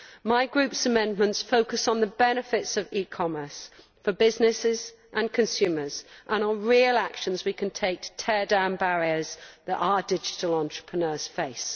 My group's amendments focus on the benefits of e commerce for businesses and consumers, and on real actions we can take to tear down the barriers that our digital entrepreneurs face.